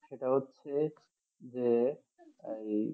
সেটা হচ্ছে যে এই